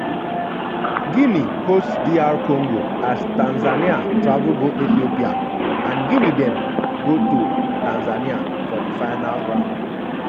guinea host dr congo as tanzania travel go ethiopia and guinea then go to tanzania for di final round.